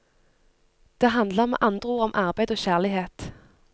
Det handler med andre ord om arbeid og kjærlighet.